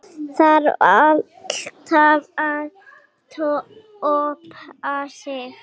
Þarf alltaf að toppa sig?